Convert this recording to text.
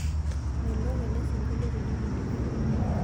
Melok ele sungolio tinining